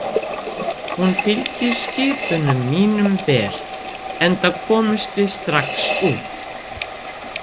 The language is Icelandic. Hún fylgir skipunum mínum vel, enda komumst við strax út.